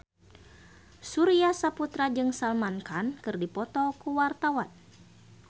Surya Saputra jeung Salman Khan keur dipoto ku wartawan